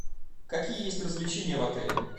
какие есть развлечения в отеле